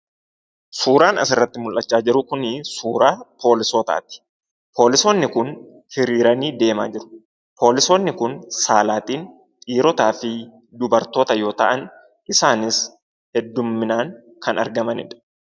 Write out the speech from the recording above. Suuraan asirratti mul'achaa jiru kuni suuraa poolisootaati. Poolisoonni kun hiriiranii deemaa jiru. Poolisoonni kun saalaan dhiirotaafi dubartoota yoo ta'an, isaanis hedduminaan kan argamanidha.